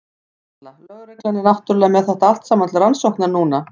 Erla: Lögreglan er náttúrulega með þetta allt saman til rannsóknar núna?